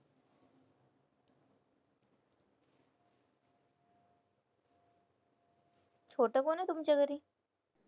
छोटं कोण आहे तुमच्या घरी?